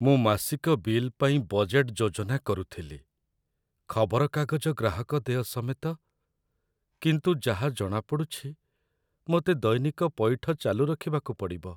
ମୁଁ ମାସିକ ବିଲ୍ ପାଇଁ ବଜେଟ୍‌‌‌ ଯୋଜନା କରୁଥିଲି, ଖବରକାଗଜ ଗ୍ରାହକଦେୟ ସମେତ, କିନ୍ତୁ ଯାହା ଜଣାପଡ଼ୁଛି, ମୋତେ ଦୈନିକ ପଇଠ ଚାଲୁ ରଖିବାକୁ ପଡ଼ିବ।